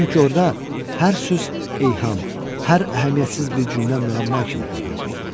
Çünki orda hər söz ilham, hər əhəmiyyətsiz bir cümlə müəmma kimi görünəcəkdi.